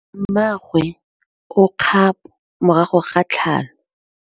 Mmagwe o kgapô morago ga tlhalô.